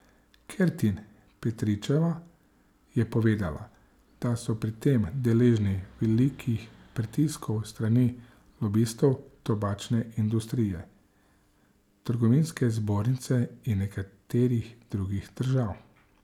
Kertin Petričeva je povedala, da so pri tem deležni velikih pritiskov s strani lobistov tobačne industrije, trgovinske zbornice in nekaterih drugih držav.